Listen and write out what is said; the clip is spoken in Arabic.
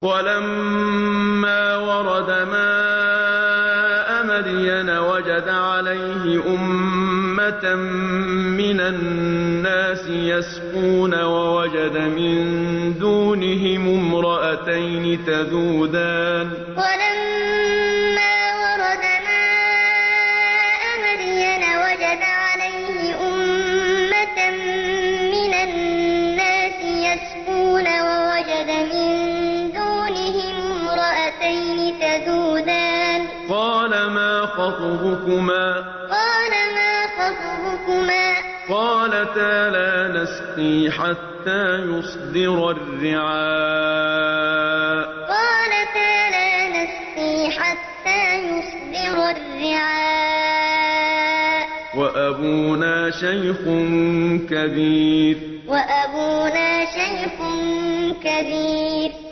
وَلَمَّا وَرَدَ مَاءَ مَدْيَنَ وَجَدَ عَلَيْهِ أُمَّةً مِّنَ النَّاسِ يَسْقُونَ وَوَجَدَ مِن دُونِهِمُ امْرَأَتَيْنِ تَذُودَانِ ۖ قَالَ مَا خَطْبُكُمَا ۖ قَالَتَا لَا نَسْقِي حَتَّىٰ يُصْدِرَ الرِّعَاءُ ۖ وَأَبُونَا شَيْخٌ كَبِيرٌ وَلَمَّا وَرَدَ مَاءَ مَدْيَنَ وَجَدَ عَلَيْهِ أُمَّةً مِّنَ النَّاسِ يَسْقُونَ وَوَجَدَ مِن دُونِهِمُ امْرَأَتَيْنِ تَذُودَانِ ۖ قَالَ مَا خَطْبُكُمَا ۖ قَالَتَا لَا نَسْقِي حَتَّىٰ يُصْدِرَ الرِّعَاءُ ۖ وَأَبُونَا شَيْخٌ كَبِيرٌ